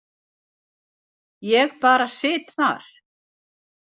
Ég bara sit þar.